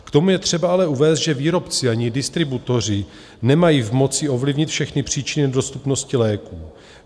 K tomu je třeba ale uvést, že výrobci ani distributoři nemají v moci ovlivnit všechny příčiny nedostupnosti léků.